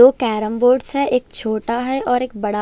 दो carrom boards है एक छोटा है और एक बड़ा--